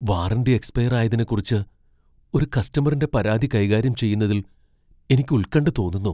Warranty expire ആയതിനെക്കുറിച്ച് ഒരു കസ്റ്റമറിന്റെ പരാതി കൈകാര്യം ചെയ്യുന്നതിൽ എനിക്ക് ഉൽകണ്ഠ തോന്നുന്നു.